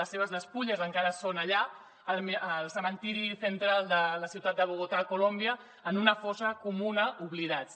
les seves despulles encara són allà al cementiri central de la ciutat de bogotà a colòmbia en una fossa comuna oblidades